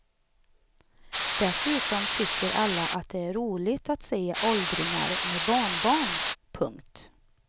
Dessutom tycker alla att det är roligt att se åldringar med barnbarn. punkt